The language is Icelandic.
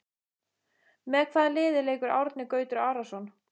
Með hvaða liði leikur Árni Gautur Arason?